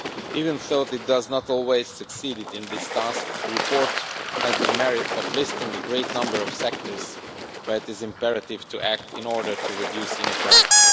Even though it does not always succeed in this task, the report has the merit of listing a great number of sectors where it is imperative to act in order to reduce inequality.